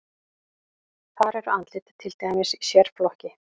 Þar eru andlit til dæmis í sérflokki.